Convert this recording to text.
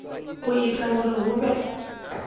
u ita uri hu vhe